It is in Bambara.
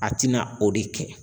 A tɛna o de kɛ.